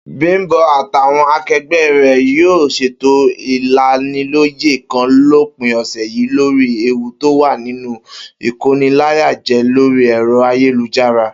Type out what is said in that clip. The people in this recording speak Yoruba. Bím̀bó̩ àtàwo̩n ake̩gbé̩ rè̩ yóò ṣètò ìlaniló̩yè̩ kan lópin ò̩sè̩ yìí lórí ewu tó wà nínú ìkóniláyàjé̩ lórí è̩ro̩ ayélujára